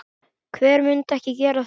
Hver myndi ekki gera það?